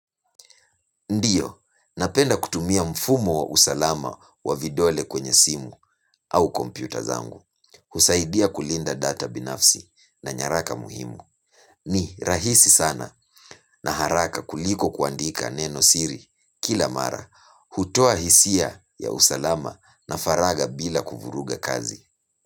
Ndio, napenda kutumia mfumo wa usalama wa vidole kwenye simu au kompyuta zangu, husaidia kulinda data binafsi na nyaraka muhimu. Ni rahisi sana na haraka kuliko kuandika neno siri kila mara, hutoa hisia ya usalama na faragha bila kuvuruga kazi.